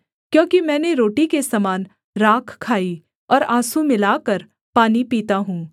क्योंकि मैंने रोटी के समान राख खाई और आँसू मिलाकर पानी पीता हूँ